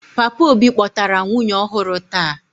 Papa obi kpotara nwunye ọhụrụ taa.